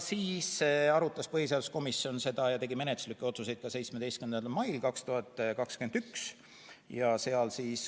Siis arutas põhiseaduskomisjon seda tegi menetluslikke otsuseid ka 17. mail 2021.